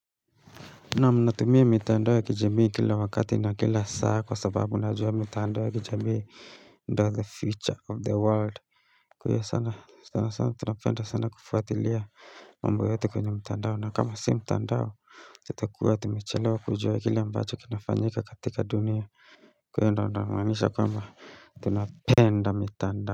Naam ninatumie mitandoa kijamii kila wakati na kila saa kwa sababu najua mitandoa ya kijamii ndio the future of the world Kwa hiyo sana, sana sana tunapenda sana kufuatilia mambo yote kwenye mtandao na kama si mtandao itakuwa tumechelawa kujua kile ambacho kinafanyika katika dunia Kwa hiyo ndio namaanisha kwamba tunapenda mitandao.